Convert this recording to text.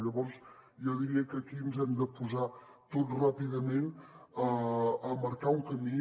llavors jo diria que aquí ens hem de posar tots ràpidament a marcar un camí